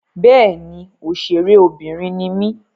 Bẹ́ẹ̀ni, òṣèré obìnrin ni mí.